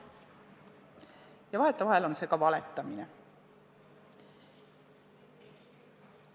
Ja vahetevahel on see ka valetamine.